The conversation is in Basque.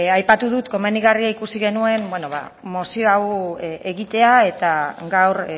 aipatu dut komenigarria ikusi genuela mozio hau egitea eta gaur